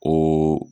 O